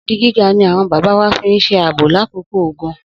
Odi gíga ni àwọn bàbá wa fi ń ṣe ààbò lákòókò ogun.